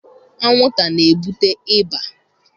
Anwụnta na-ebute ịba.